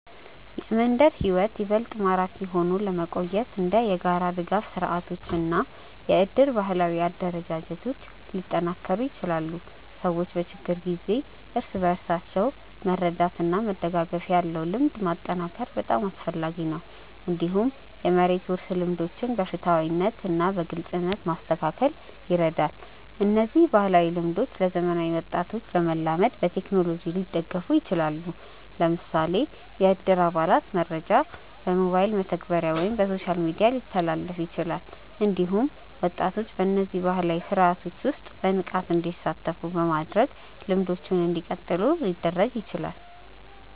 የመንደር ሕይወት ይበልጥ ማራኪ ሆኖ ለመቆየት እንደ የጋራ ድጋፍ ስርዓቶች እና የእድር ባህላዊ አደረጃጀቶች ሊጠናከሩ ይችላሉ። ሰዎች በችግር ጊዜ እርስ በርስ መርዳት እና መደጋገፍ ያለው ልምድ ማጠናከር በጣም አስፈላጊ ነው። እንዲሁም የመሬት ውርስ ልምዶችን በፍትሃዊነት እና በግልጽነት ማስተካከል ይረዳል። እነዚህ ባህላዊ ልምዶች ለዘመናዊ ወጣቶች ለመላመድ በቴክኖሎጂ ሊደገፉ ይችላሉ። ለምሳሌ የእድር አባላት መረጃ በሞባይል መተግበሪያ ወይም በሶሻል ሚዲያ ሊተላለፍ ይችላል። እንዲሁም ወጣቶች በእነዚህ ባህላዊ ስርዓቶች ውስጥ በንቃት እንዲሳተፉ በማድረግ ልምዶቹ እንዲቀጥሉ ሊደረግ ይችላል።